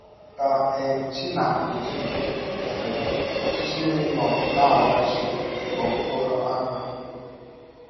Ka um chi na - eji um, ọchịchịrị nọ na - agbachi n’ọkpọrọ ámá.